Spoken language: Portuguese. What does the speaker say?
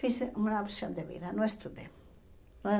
Fiz uma opção de vida, não estudei. Não